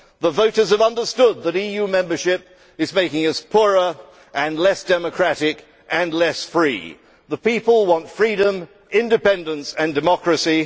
The voters have understood that EU membership is making us poorer, and less democratic and less free. The people want freedom, independence and democracy.